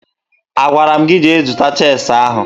Agwara m gị jee zụta cheesi ahụ!